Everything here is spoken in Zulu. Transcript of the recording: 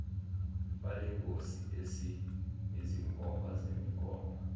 balengosi esinezinkomba zemigomo